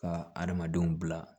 Ka adamadenw bila